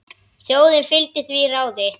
Þjóðin fylgdi því ráði.